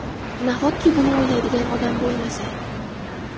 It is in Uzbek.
Nahotki buni o‘ylaydigan odam bo‘lmasa?!